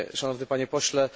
Szanowny Panie Pośle!